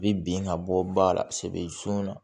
U bɛ bin ka bɔ ba la segu yan